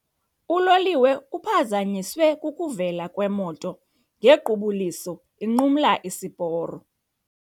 Uloliwe uphazanyiswe kukuvela kwemoto ngequbuliso inqumla isiporo.